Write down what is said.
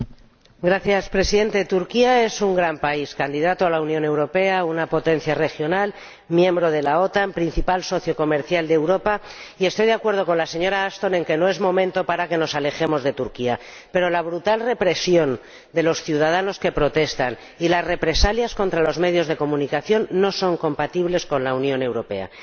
Señor Presidente, Turquía es un gran país, candidato a la Unión Europea, una potencia regional, miembro de la OTAN, principal socio comercial de Europa, y estoy de acuerdo con la señora Ashton en que no es momento para que nos alejemos de Turquía, pero la brutal represión de los ciudadanos que protestan y las represalias contra los medios de comunicación no son compatibles con la Unión Europea.